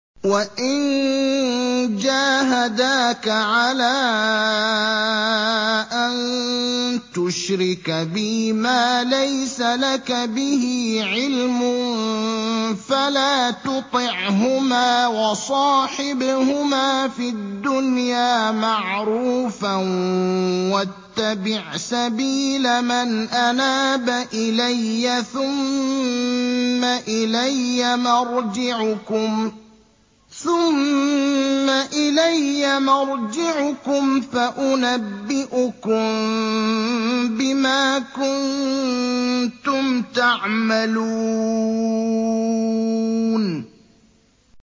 وَإِن جَاهَدَاكَ عَلَىٰ أَن تُشْرِكَ بِي مَا لَيْسَ لَكَ بِهِ عِلْمٌ فَلَا تُطِعْهُمَا ۖ وَصَاحِبْهُمَا فِي الدُّنْيَا مَعْرُوفًا ۖ وَاتَّبِعْ سَبِيلَ مَنْ أَنَابَ إِلَيَّ ۚ ثُمَّ إِلَيَّ مَرْجِعُكُمْ فَأُنَبِّئُكُم بِمَا كُنتُمْ تَعْمَلُونَ